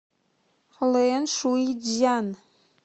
лэншуйцзян